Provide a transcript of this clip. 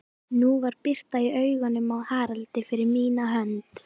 Nú var birta í augunum á Haraldi, fyrir mína hönd.